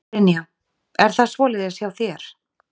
Brynja: Er það svoleiðis hjá þér?